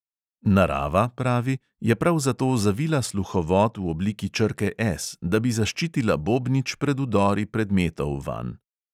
Narava, pravi, je prav zato zavila sluhovod v obliki črke S, da bi zaščitila bobnič pred vdori predmetov vanj.